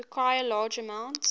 require large amounts